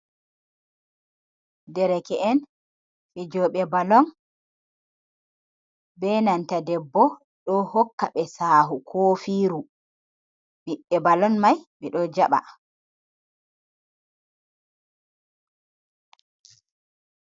Dereke en fijoɓe balon be nanta debbo do hokka be sahu kofiiru, ɓiɓbe balon mai ɓe ɗo jaɓa.